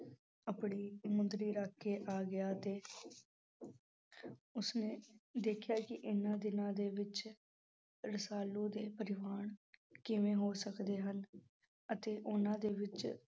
ਆਪਣੀ ਮੁੰਦਰੀ ਰੱਖ ਕੇ ਆ ਗਿਆ ਅਤੇ ਉੁਸਨੇ ਦੇਖਿਆ ਕਿ ਇਹਨਾਂ ਦਿਨਾਂ ਦੇ ਵਿੱਚ ਰਸਾਲੂ ਦੇ ਕਿਵੇਂ ਹੋ ਸਕਦੇ ਹਨ ਅਤੇ ਉਹਨਾਂ ਦੇ ਵਿੱਚ